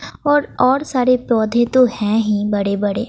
और और सारे पौधे तो है ही बड़ेबड़े।